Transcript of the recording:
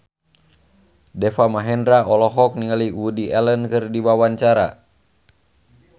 Deva Mahendra olohok ningali Woody Allen keur diwawancara